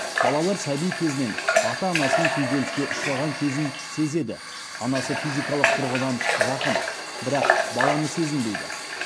балалар сәби кезінен ата анасының күйзеліске ұшыраған кезін сезеді анасы физикалық тұрғыдан жақын бірақ баланы сезінбейді